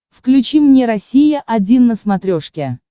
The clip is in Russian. включи мне россия один на смотрешке